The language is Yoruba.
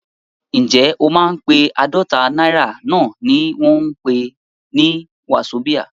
Ǹjẹ́ o mọ pé àádọ́ta náírà náà ni wọ́n ń pè ní wazobia?